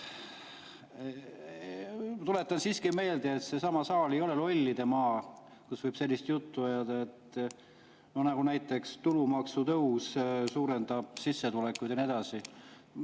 Tuletan siiski meelde, et see saal ei ole Lollidemaa, kus võib sellist juttu ajada, näiteks et tulumaksu tõus suurendab sissetulekuid ja nii edasi.